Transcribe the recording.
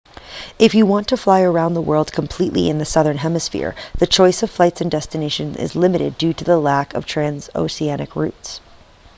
if you want to fly around the world completely in the southern hemisphere the choice of flights and destinations is limited due to the lack of transoceanic routes